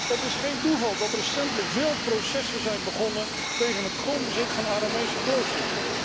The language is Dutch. Het is geen toeval dat recentelijk veel processen zijn begonnen tegen het grondbezit van Aramese kloosters.